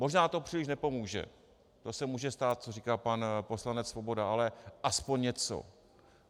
Možná to příliš nepomůže, to se může stát, co říká pan poslanec Svoboda, ale alespoň něco.